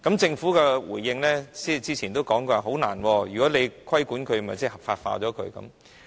政府早前回應表示難以做到，因為如果規管它的話，即是將它合法化。